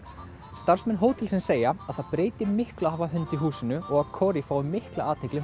starfsmenn hótelsins segja að það breyti miklu að hafa hund í húsinu og að Cori fái mikla athygli